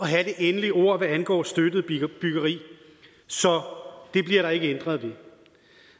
have det endelige ord hvad angår støttet byggeri så det bliver der ikke ændret ved